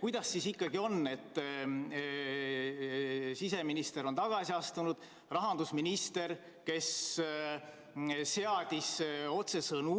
Kuidas siis ikkagi on, et siseminister on tagasi astunud, rahandusminister, kes seadis otsesõnu